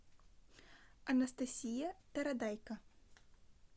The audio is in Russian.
анастасия тарадайко